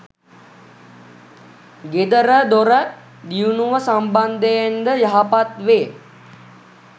ගෙදරදොර දියුණුව සම්බන්ධයෙන්ද යහපත් වේ.